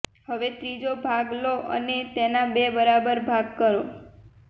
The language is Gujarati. હવે ત્રીજો ભાગ લો અને તેના બે બરાબર ભાગ કરો